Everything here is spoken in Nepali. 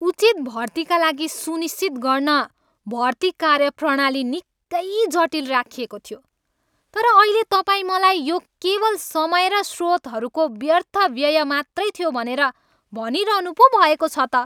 उचित भर्तीका लागि सुनिश्चित गर्न भर्ति कार्यप्रणाली निकै जटिल राखिएको थियो, तर अहिले तपाईँ मलाई यो केवल समय र स्रोतहरूको व्यर्थ व्यय मात्रै थियो भनेर भनिरहनु पो भएको छ त।